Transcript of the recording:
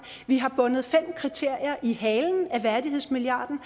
vi har bundet fem kriterier i halen af værdighedsmilliarden